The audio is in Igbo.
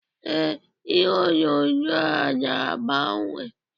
Ee, ihe onyonyo a na-agbanye